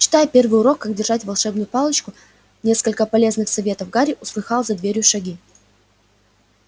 читая первый урок как держать волшебную палочку несколько полезных советов гарри услыхал за дверью шаги